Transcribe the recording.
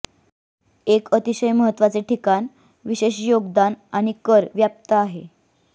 एक अतिशय महत्वाचे ठिकाण विशेष योगदान आणि कर व्याप्त आहे